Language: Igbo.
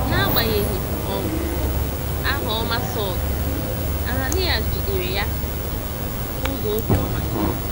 N’agbanyeghị um aha ọma Saulu, Ananias jidere ya n’ụzọ obiọma.